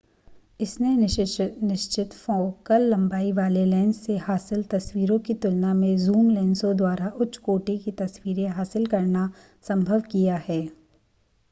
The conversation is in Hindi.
इसने निश्चित फ़ोकल लंबाई वाले लेंस से हासिल तस्वीरों की तुलना में ज़ूम लेंसों द्वारा उच्च कोटि की तस्वीरें हासिल करना संभव किया है